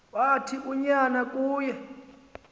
wathi unyana kuye